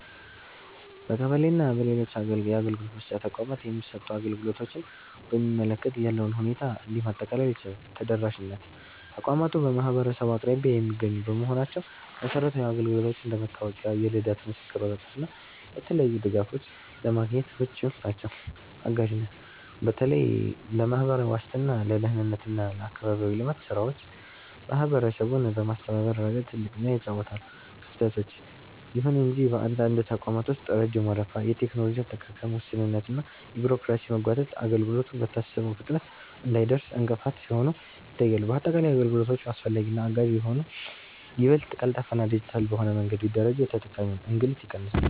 በቀበሌ እና በሌሎች የአገልግሎት መስጫ ተቋማት የሚሰጡ አገልግሎቶችን በሚመለከት ያለውን ሁኔታ እንዲህ ማጠቃለል ይቻላል፦ ተደራሽነት፦ ተቋማቱ በማህበረሰቡ አቅራቢያ የሚገኙ በመሆናቸው መሰረታዊ አገልግሎቶችን (እንደ መታወቂያ፣ የልደት ምስክር ወረቀት እና የተለያዩ ድጋፎች) ለማግኘት ምቹ ናቸው። አጋዥነት፦ በተለይ ለማህበራዊ ዋስትና፣ ለደህንነት እና ለአካባቢያዊ ልማት ስራዎች ማህበረሰቡን በማስተባበር ረገድ ትልቅ ሚና ይጫወታሉ። ክፍተቶች፦ ይሁን እንጂ በአንዳንድ ተቋማት ውስጥ ረጅም ወረፋ፣ የቴክኖሎጂ አጠቃቀም ውስንነት እና የቢሮክራሲ መጓተት አገልግሎቱ በታሰበው ፍጥነት እንዳይደርስ እንቅፋት ሲሆኑ ይታያሉ። ባጠቃላይ፣ አገልግሎቶቹ አስፈላጊና አጋዥ ቢሆኑም፣ ይበልጥ ቀልጣፋና ዲጂታል በሆነ መንገድ ቢደራጁ የተጠቃሚውን እንግልት ይቀንሳሉ።